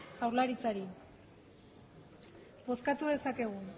jaurlaritzari bozkatu dezakegu